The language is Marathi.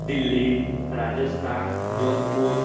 दिल्ली, राजस्थान, ज्योधपूर